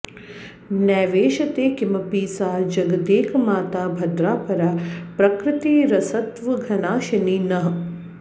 नैवेशते किमपि सा जगदेकमाता भद्रा परा प्रकृतिरस्त्वघनाशिनी नः